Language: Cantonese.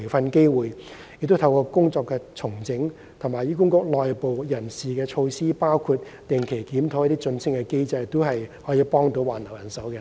我們會透過工作重整及醫管局內部人事措施，包括定期檢討晉升機制，以助挽留人手。